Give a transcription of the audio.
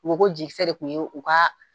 U ko ko jekiisɛ de tun ye u ka